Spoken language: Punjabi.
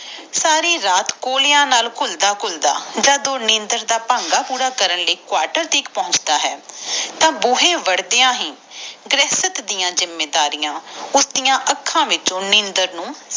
ਸਾਰੀ ਰਾਤ ਕੋਲਿਆਂ ਨਾਲ ਘੁਲਦਾ ਘੁਲਦਾ ਜਦੋ ਨੀਂਦਰ ਦਾ ਭੰਗਾ ਪੂਰਾ ਕਰਨ ਲਈ ਕਵਾਟਰ ਤਕ ਪੋਂਛਡਾ ਹੈ ਤਾ ਗੋਹੇ ਵਰਡ ਦੀਆ ਹੀ ਗ੍ਰਹਿਸਤ ਡਾ ਜਿੰਮੇਵਾਰੀਆਂ ਉਸ ਡਾ ਅੱਖਾਂ ਵਿੱਚੋ ਨੀਂਦਰ ਨੂੰ